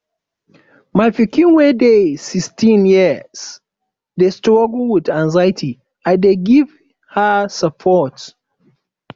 my pikin wey dey sixteen years dey struggle with anxiety i dey give her support